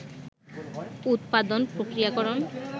উত্পাদন, প্রক্রিয়াকরণ